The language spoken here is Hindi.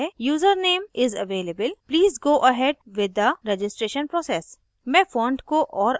मुझे एक message मिलता है कि user name is available please go ahead with the registration process